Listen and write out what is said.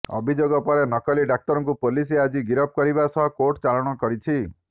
ଅଭିଯୋଗ ପରେ ନକଲି ଡାକ୍ତରକୁ ପୋଲିସ ଆଜି ଗିରଫ କରିବା ସହ କୋର୍ଟଚାଲାଣ କରିଛି